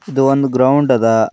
ಇದು ಒಂದ್ ಗ್ರೌಂಡ್ ಅದ.